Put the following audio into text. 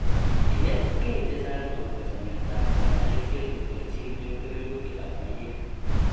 Inet kei che chang' akopa chametap kanyaiset neterchin eng' kewelutikap maiywek